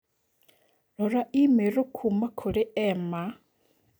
Rora i-mīrū kuuma kũrĩ Emma